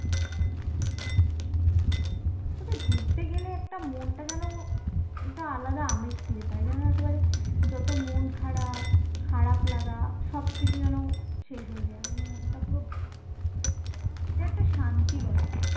কিন্তু ঘুরতে গেলে একটা মনটা যেন একটা আলাদা আমেজ ফিরে পায় যেন একেবারে যত মন খারাপ, খারাপ লাগা সবকিছু যেন শেষ হয়ে যায় একদম মনটা পুরো এটা একটা শান্তি বটে